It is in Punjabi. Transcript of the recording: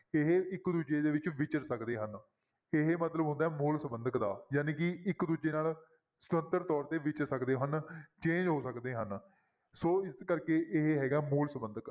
ਇਹ ਇੱਕ ਦੂਜੇ ਦੇ ਵਿੱਚ ਵਿਚਰ ਸਕਦੇ ਹਨ ਇਹ ਮਤਲਬ ਹੁੰਦਾ ਹੈ ਮੂਲ ਸੰਬੰਧਕ ਦਾ ਜਾਣੀ ਕਿ ਇੱਕ ਦੂਜੇ ਨਾਲ ਸੁਤੰਤਰ ਤੌਰ ਤੇ ਵਿਚਰ ਸਕਦੇ ਹਨ change ਹੋ ਸਕਦੇ ਹਨ ਸੋ ਇਸ ਕਰਕੇ ਇਹ ਹੈਗਾ ਮੂਲ ਸੰਬੰਧਕ।